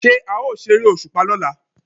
Ṣé a ó ṣeré òṣùpá lọ́la?